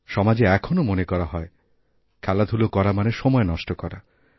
সমাজে এখনও মনে করা হয় খেলাধুলো করা মানে সময় নষ্টকরা